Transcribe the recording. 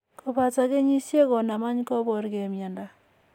Kopata kenyisiek konam any koporge mindo.